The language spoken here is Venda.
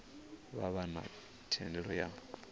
vha vha na thendelo ya